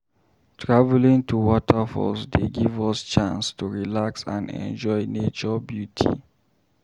Traveling to waterfalls dey give us chance to relax and enjoy nature beauty.